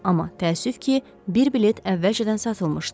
Amma təəssüf ki, bir bilet əvvəlcədən satılmışdı.